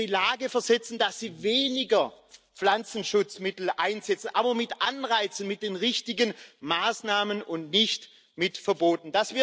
dass wir sie in die Lage versetzen, weniger Pflanzenschutzmittel einzusetzen aber mit Anreizen, mit den richtigen Maßnahmen, und nicht mit Verboten.